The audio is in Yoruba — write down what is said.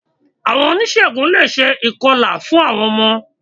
Àwon onísègùn le è se ìkọlà fún ọmọ